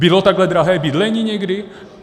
Bylo takhle drahé bydlení někdy?